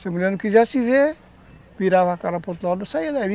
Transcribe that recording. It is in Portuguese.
Se a mulher não quisesse ver, virava a cara para o outro lado e saía dali.